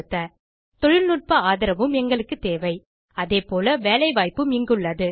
001117 001019 தொழில்நுட்ப ஆதரவும் எங்களுக்கு தேவை அதேபோல வேலைவாய்ப்பும் இங்குள்ளது